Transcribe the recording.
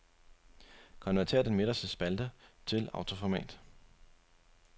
Konvertér den midterste spalte til autoformat.